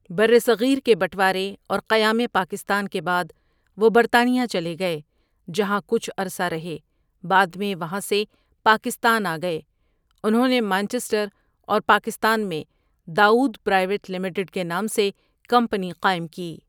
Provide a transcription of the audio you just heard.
برصغیر کے بٹوارے اور قیام پاکستان کے بعد وہ برطانیہ چلے گئے جہاں کچھ عرصہ رہے بعد میں وہاں سے پاکستان آ گئے انھوں نے مانچسٹر اور پاکستان میں داؤد پرائیوٹ لمیٹڈ کے نام سے کمپنی قائم کی۔